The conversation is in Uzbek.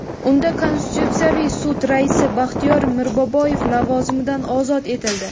Unda Konstitutsiyaviy sud raisi Baxtiyor Mirboboyev lavozimidan ozod etildi.